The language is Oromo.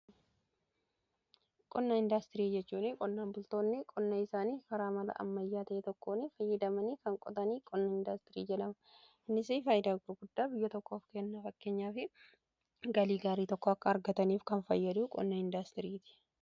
qonna indaastirii jechuun qonnaan bultoonni qonna isaanii karaa mala'ammayyaa ta'ee tokkoon fayyadamanii kan qotanii qonna indaastirii jedhama. innisi faayidaa gurguddaa biyya tokkoof kenna fakkeenyaa fi galii gaarii tokko akka argataniif kan fayyadu qonna indaastirii ti.